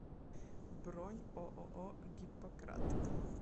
бронь ооо гиппократ